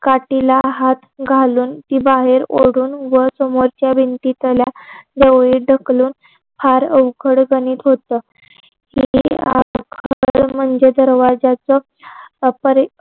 काठीला हात घालून ती बाहेर ओढून वर समोरच्या भिंतीतल्या जावळीत ढकलून फार अवघड गणित होत म्हणजे दरवाजाच अपरी